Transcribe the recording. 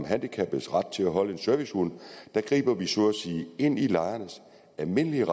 om handicappedes ret til at holde en servicehund griber vi så at sige ind i lejernes almindelige